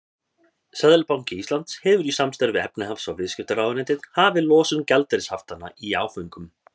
Seðlabanki Íslands hefur í samstarfi við efnahags- og viðskiptaráðuneytið hafið losun gjaldeyrishaftanna í áföngum.